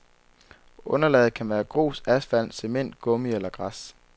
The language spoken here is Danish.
Underlaget kan være grus, asfalt, cement, gummi eller græs.